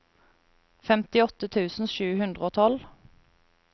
femtiåtte tusen sju hundre og tolv